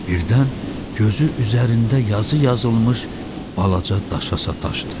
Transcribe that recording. Birdən gözü üzərində yazı yazılmış balaca daşa sataşdı.